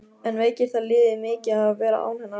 En veikir það liðið mikið að vera án hennar?